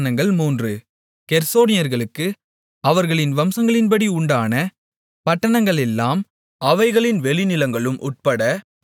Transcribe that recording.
கெர்சோனியர்களுக்கு அவர்களுடைய வம்சங்களின்படி உண்டான பட்டணங்களெல்லாம் அவைகளின் வெளிநிலங்களும் உட்பட பதின்மூன்று